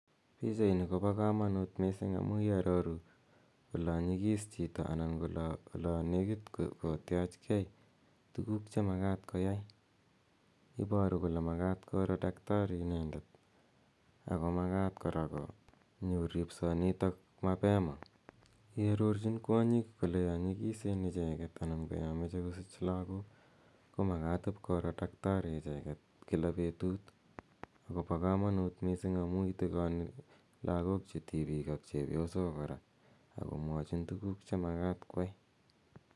Pichanini ko pa kamanjt missing' amu iaroru ola nyiks chito anan ola nekit kotiachge tuguk che makat koyai. Ipatu kole makat kora dakitari inende ako makat kora konyor ripsanitok mapema. Iarorchin kwonyik kole ya nyikisen icheget ana ya mache kosich lagok ko makat ip koro dakitari icheget kila petut. Ako pa kamanut missing' amu itikani lagom che tipik ak chepyosok kora ak komwachin tuguk che makat koyai.